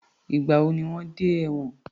Ìgbà wo ni wọ́n dẹ́ ẹ̀wòn?